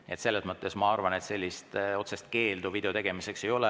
Nii et selles mõttes ma arvan, et otsest keeldu video tegemiseks ei ole.